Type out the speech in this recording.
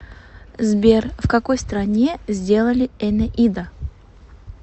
сбер в какой стране сделали энеида